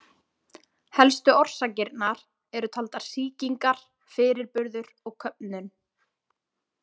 Helstu orsakirnar eru taldar sýkingar, fyrirburður og köfnun.